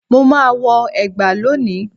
Mo ma wọ ẹgba lóni